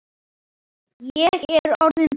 Ég er orðinn blaut